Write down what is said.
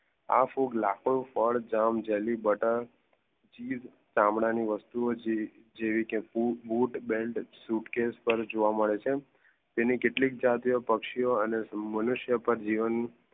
આ ફૂગ લખો ફાડ, જામ, જેલી, બટ્ટર, ચીસ ચામડા ની વસ્તુઓ જેવી બૂટ, બેલ્ટ, સૂટકેસ પર જોવા મેડ છે. તેની કેટલીક જાતિઓ પક્લ્સિયો અને મનુષ્ય પર જીવન